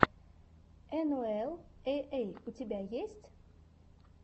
энуэл эй эй у тебя есть